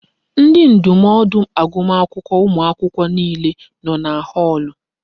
Ndi ndụmọdụ agụmakwụkwọ ụmụ akwụkwọ niile nọ na họọlụ.